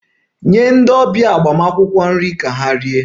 Nye ndị ọbịa agbamakwụkwọ nri ka ha rie!